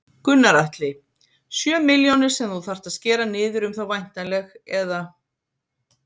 Gunnar Atli: Sjö milljónir sem þú þarft að skera niður um þá væntanleg eða?